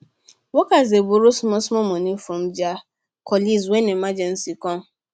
workers dey borrow small small money from their colleagues when emergency come